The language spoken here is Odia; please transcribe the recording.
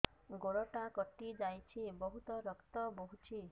ଗୋଡ଼ଟା କଟି ଯାଇଛି ବହୁତ ରକ୍ତ ବହୁଛି